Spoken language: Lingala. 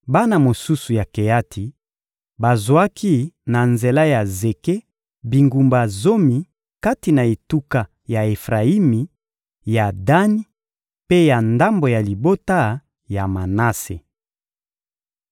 Bana mosusu ya Keati bazwaki na nzela ya zeke bingumba zomi kati na etuka ya Efrayimi, ya Dani mpe ya ndambo ya libota ya Manase.